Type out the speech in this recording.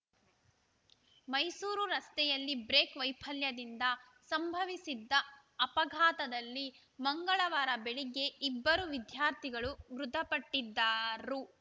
ಮೈಸೂರು ರಸ್ತೆಯಲ್ಲಿ ಬ್ರೇಕ್‌ ವೈಫಲ್ಯದಿಂದ ಸಂಭವಿಸಿದ್ದ ಅಪಘಾತದಲ್ಲಿ ಮಂಗಳವಾರ ಬೆಳಗ್ಗೆ ಇಬ್ಬರು ವಿದ್ಯಾರ್ಥಿಗಳು ಮೃತಪಟ್ಟಿ ದ್ದರು